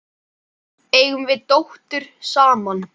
Eigum við dóttur saman?